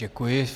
Děkuji.